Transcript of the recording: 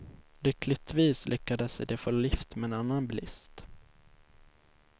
Lyckligtvis lyckades de få lift med en annan bilist.